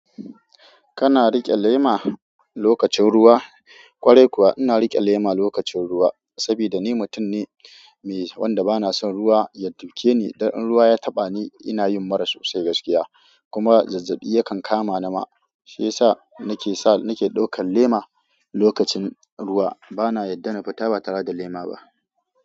Kana riƙe lema lokacin ruwa? Kwarai kuwa ina riƙe lema lokacin ruwa. Saboda ni mutum ne wanda ba na son ruwa ya duke ni. Dan in ruwa ya taɓa ni ina yin mura sosai gaskiya. Kuma zazzabi yakan kama ni ma. Shi ya sa nake sa, nake ɗaukan lema lokacin ruwa. Ba na yadda na fita ba tare da lema ba.